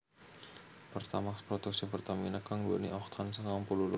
Pertamax produksi Pertamina kang nduwèni Oktan sangang puluh loro